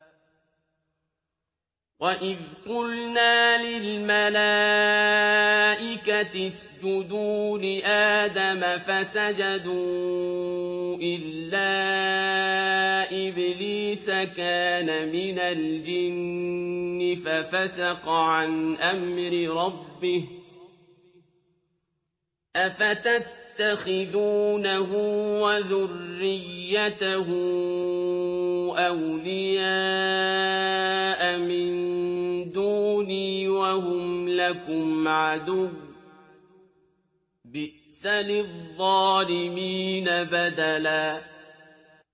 وَإِذْ قُلْنَا لِلْمَلَائِكَةِ اسْجُدُوا لِآدَمَ فَسَجَدُوا إِلَّا إِبْلِيسَ كَانَ مِنَ الْجِنِّ فَفَسَقَ عَنْ أَمْرِ رَبِّهِ ۗ أَفَتَتَّخِذُونَهُ وَذُرِّيَّتَهُ أَوْلِيَاءَ مِن دُونِي وَهُمْ لَكُمْ عَدُوٌّ ۚ بِئْسَ لِلظَّالِمِينَ بَدَلًا